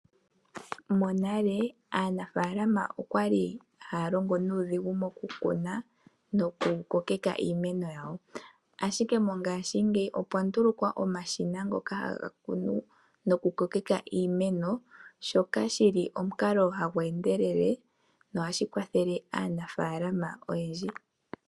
Monale aanafalama okwali haya longo nuudhigu moku kuna noku ko keka iimeno yawo. Ashike mongashi ngeyi opwa ndulukwa omashina ngoka haga kunu noku ko keka iimeno shoka shili omukalo hagu endelele nohashi kwathele aanafalama oyendji.